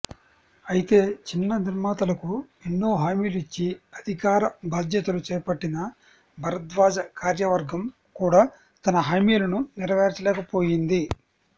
అయితే చిన్న నిర్మాతలకు ఎన్నో హామీలు ఇచ్చి అధికార బాధ్యతలు చేపట్టిన భరద్వాజ కార్యవర్గం కూడా తన హామీలను నేరవేర్చలేకపోయింది